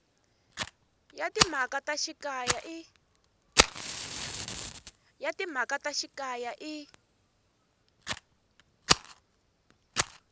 ya timhaka ta xikaya i